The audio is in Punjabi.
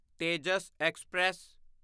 ਤੇਜਸ ਐਕਸਪ੍ਰੈਸ